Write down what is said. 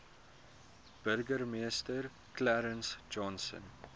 burgemeester clarence johnson